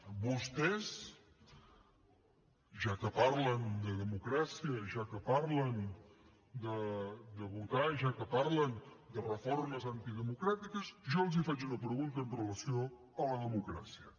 a vostès ja que parlen de democràcia ja que parlen de votar ja que parlen de reformes antidemocràtiques jo els faig una pregunta amb relació a la democràcia